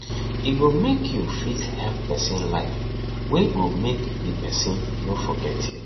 e go mek yu fit help pesin life wey go mek di pesin no forget yu